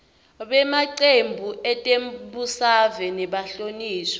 bemacembu etembusave nebahlonishwa